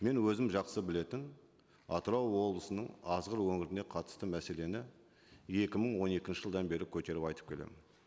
мен өзім жақсы білетін атырау облысының азғыр өңіріне қатысты мәселені екі мың он екінші жылдан бері көтеріп айтып келемін